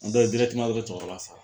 ye o de ye cɛkɔrɔba faa.